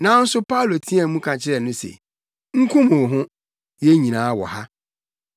Nanso Paulo teɛɛ mu ka kyerɛɛ no se, “Nkum wo ho! Yɛn nyinaa wɔ ha!”